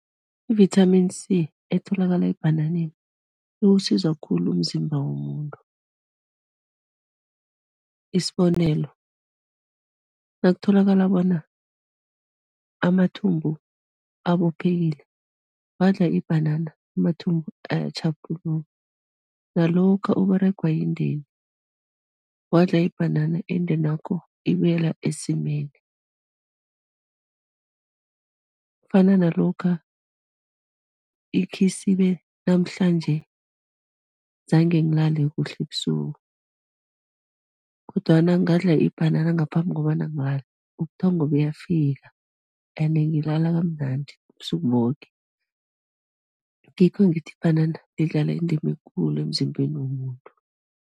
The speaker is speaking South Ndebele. I-Vitamin C etholakala ebhanananeni, iwusiza khulu umzimba womuntu, isibonelo, nakutholakala bona amathumbu abophekile, wadla ibhanana amathumbu ayatjhaphuluka nalokha Uberegwa yindeni, wadla ibhanana indenakho ibuyela esimeni. Kufana nalokha ikhisibe namhlanje zange ngilale kuhle ebusuku kodwana ngadla ibhanana ngaphambi kobana ngilale, ubuthongo buyafika ene ngilala kamnandi, ubusuku loke, ngikho ngithi ibhanana lidlala indima ekulu emzimbeni womuntu.